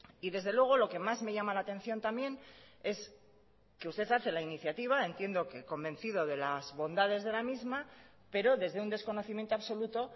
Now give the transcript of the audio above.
y desde luego lo que más me llama la atención también es que usted hace la iniciativa entiendo que convencido de las bondades de la misma pero desde un desconocimiento absoluto